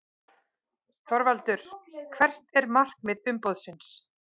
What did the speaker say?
ÞORVALDUR: Hvert er markmið umboðsins?